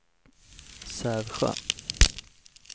Sävsjö